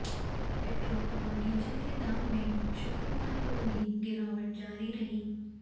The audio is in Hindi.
पेट्रोल और डीजल के दाम में शुक्रवार को भी गिरावट जारी रही